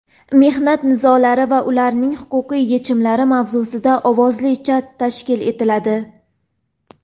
"Mehnat nizolari va ularning huquqiy yechimlari" mavzusida ovozli chat tashkil etiladi.